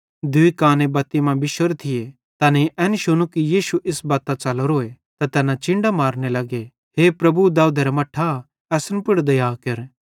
दूई काने बत्ती मां बिश्शोरे थिये तैनेईं एन शुनू कि यीशु इस बत्तां च़लोरोए त तैना चिन्डां मारने लग्गे हे प्रभु दाऊदेरा मट्ठां असन पुड़ दया केर